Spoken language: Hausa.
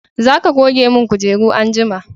za ka goge mun kujeru anjima!